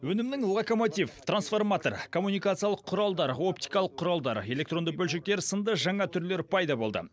өнімнің локомотив трансформатор коммуникациялық құралдар оптикалық құралдар электронды бөлшектер сынды жаңа түрлері пайда болды